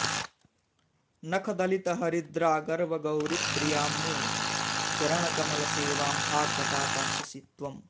नखदलितहरिद्रागर्वगौरि प्रियां मे चरणकमलसेवां हा कदा दास्यसि त्वम्